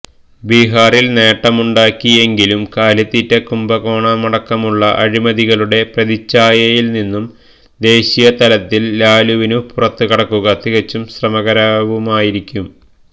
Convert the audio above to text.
ബിഹാറിൽ നേട്ടമുണ്ടാക്കി എങ്കിലും കാലിത്തീറ്റ കുംഭകോണമടക്കമുള്ള അഴിമതികളുടെ പ്രതിച്ഛായയിൽ നിന്നും ദേശീയ തലത്തിൽ ലാലുവിനു പുറത്തു കടക്കുക തികച്ചും ശ്രമകരവുമായിരിക്കും